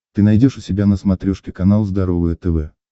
ты найдешь у себя на смотрешке канал здоровое тв